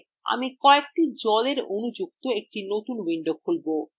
আমি কয়েকটি জলএর অণু যুক্ত একটি নতুন window খুলব